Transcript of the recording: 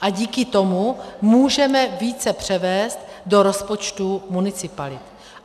A díky tomu můžeme více převést do rozpočtu municipalit.